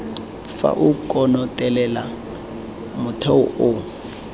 fa o konotelela motheo o